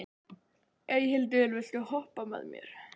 Eyhildur, viltu hoppa með mér?